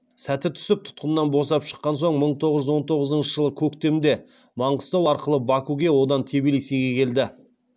сәті түсіп тұтқыннан босап шыққан соң мың тоғыз жүз он тоғызыншы жылы көктемде маңғыстау арқылы бакуге одан тбилисиге келді